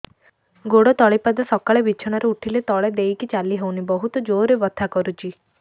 ଗୋଡ ତଳି ପାଦ ସକାଳେ ବିଛଣା ରୁ ଉଠିଲେ ତଳେ ଦେଇକି ଚାଲିହଉନି ବହୁତ ଜୋର ରେ ବଥା କରୁଛି